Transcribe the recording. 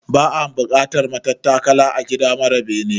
Ba'a bukatar matattakala a gida mara bene